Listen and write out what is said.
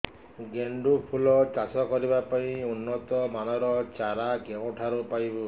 ଗେଣ୍ଡୁ ଫୁଲ ଚାଷ କରିବା ପାଇଁ ଉନ୍ନତ ମାନର ଚାରା କେଉଁଠାରୁ ପାଇବୁ